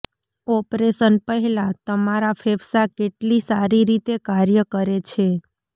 operation પહેલાં તમારા ફેફસાં કેટલી સારી રીતે કાર્ય કરે છે